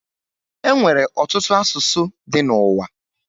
E nwere ọtụtụ asụsụ dị n'uwa